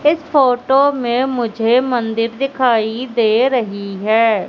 इस फोटो में मुझे मंदिर दिखाई दे रही है।